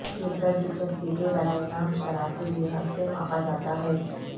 یہ قدر دلچسپی کے برائے نام شرح کے لحاظ سے ماپا جاتا ہے